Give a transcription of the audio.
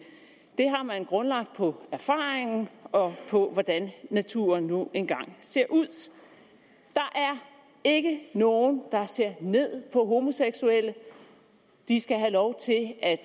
det har man grundlagt på erfaringen og på hvordan naturen nu engang ser ud der er ikke nogen der ser ned på homoseksuelle de skal have lov til at